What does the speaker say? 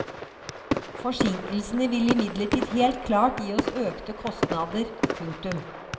Forsinkelsene vil imidlertid helt klart gi oss økte kostnader. punktum